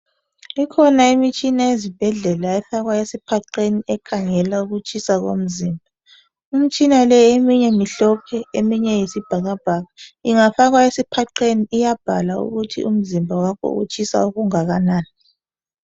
Ikhona imitshina ezibhedlela efakwa esiphaqeni ekhangelwa ukutshisa komzimba. Imitshina leyi eminye mimhlophe eminye iyisobhakabhaka ingafakwa esiphaqeni iyabhala ukuthi umzimba wakho utshisa okungakanani.